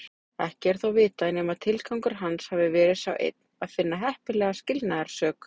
Ekki er þó vitað nema tilgangur hans hafi verið sá einn að finna heppilega skilnaðarsök.